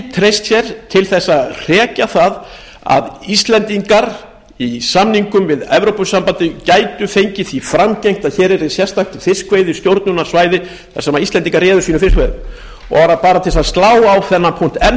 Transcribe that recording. treyst sér til að hrekja það að íslendingar í samningum við evrópusambandið gæti fengið því framgengt að hér yrði sérstakt fiskveiðistjórnarsvæði þar sem íslendingar réðu sínum fiskveiðum bara til að slá á þennan punkt enn